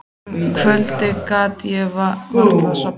Um kvöldið gat ég varla sofnað.